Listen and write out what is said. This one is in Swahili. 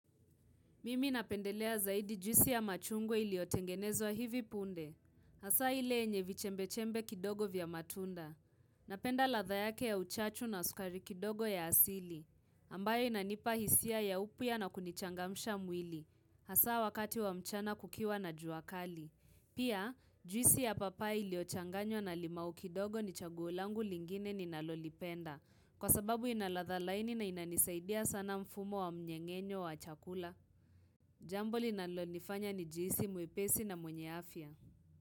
Mimi napendelea zaidi juisi ya machungwa iliyotengenezwa hivi punde. Hasa hile yenye vichembe-chembe kidogo vya matunda. Napenda ladhaa yake ya uchachu na uskari kidogo ya asili. Ambayo inanipahisia ya upya na kunichangamsha mwili. Hasa wakati wa mchana kukiwa na juakali. Pia juisi ya papai ili ochanganywa na limau kidogo ni chagulangu lingine ninalolipenda. Kwa sababu inaladhaa laini na inanisaidia sana mfumo wa mnyengenyo wa chakula. Jambo linalo nifanya ni jihisi mwepesi na mwenye afya.